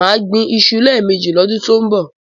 Má gbín iṣu lẹ́ẹ̀mẹjì lọ́dún tọ́ ń bọ̀.